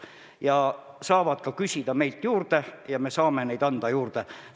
Nad saavad meilt neid ka juurde küsida, me saame neid juurde anda.